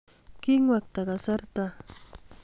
king'wekta kasarta